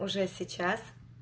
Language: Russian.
уже сейчас